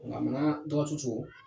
Ŋaminaa dɔgɔtu cogo